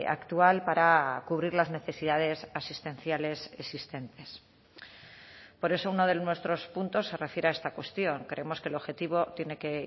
actual para cubrir las necesidades asistenciales existentes por eso uno de nuestros puntos se refiere a esta cuestión creemos que el objetivo tiene que